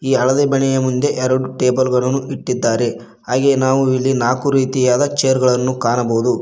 ಹಳದಿ ಮನೆಯ ಮುಂದೆ ಎರಡು ಟೇಬಲ್ ಗಳನ್ನು ಇಟ್ಟಿದ್ದಾರೆ ಹಾಗೆ ನಾವು ಇಲ್ಲಿ ನಾಲ್ಕು ರೀತಿಯಾದ ಚೇರ್ಗಳನ್ನು ಕಾಣಬಹುದು.